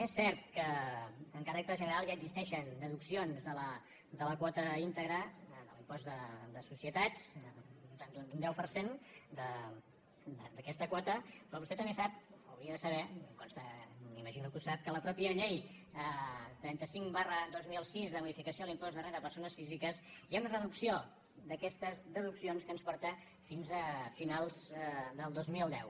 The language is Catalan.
és cert que amb caràcter general ja existeixen deduc·cions de la quota íntegra de l’impost de societats d’un deu per cent d’aquesta quota però vostè també sap o ho hauria de saber em consta m’imagino que ho sap que a la mateixa llei trenta cinc dos mil sis de modificació de l’im·post de renda de persones físiques hi ha una reducció d’aquestes deduccions que ens porta fins a finals del dos mil deu